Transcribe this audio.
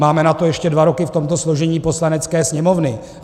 Máme na to ještě dva roky v tomto složení Poslanecké sněmovny.